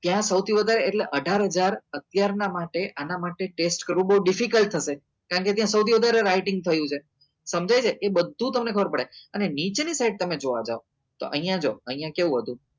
ત્યાં સૌથી વધારે એટલે અઢાર હજાર અત્યાર ના માટે આના માટે test કરવું બઉ difficult થશે કારણ કે ત્યાં સૌથી વધારે writing થયું છે સમજાય છે એ બધું તમને ખબર પડે અને નીચે ની side તમે જોવા જાઓ તો અહિયાં જો અહિયાં કેવું હતું